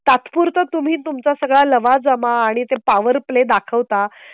तात्पुरता तुम्ही तुमचा सगळा लवाजमा आणि ते पॉवर प्ले दाखवता.